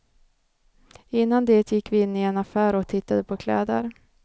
Innan det gick vi in i en affär och tittade på kläder.